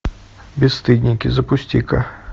бесстыдники запусти ка